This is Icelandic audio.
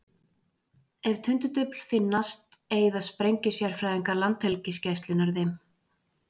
Ef tundurdufl finnast eyða sprengjusérfræðingar Landhelgisgæslunnar þeim.